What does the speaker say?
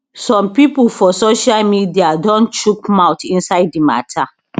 some pipo for social media don chook mouth inside di mata